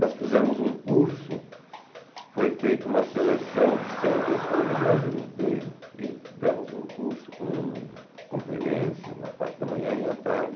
Nós fizemos um curso, foi feita uma seleção de cem pessoas no Brasil inteiro e demos um curso com conferências na parte da manhã e à tarde.